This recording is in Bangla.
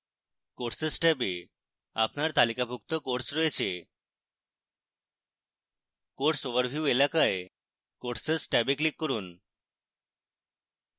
courses ট্যাবে আপনার তালিকাভুক্ত courses রয়েছে course overview এলাকায় courses ট্যাবে click করুন